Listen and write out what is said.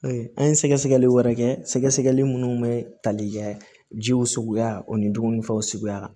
An ye sɛgɛsɛgɛli wɛrɛ kɛ sɛgɛsɛgɛli minnu bɛ tali kɛ jiw suguya o ni dumunifɛnw suguya la